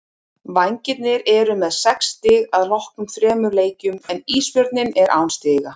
Vængirnir eru með sex stig að loknum þremur leikjum en Ísbjörninn er án stiga.